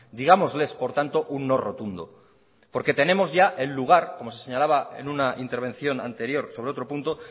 digámosles por tanto un no rotundo porque tenemos ya el lugar como se señalaba en una intervención anterior sobre otro punto